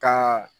Ka